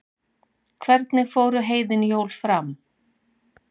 Hvernig fóru heiðin jól fram?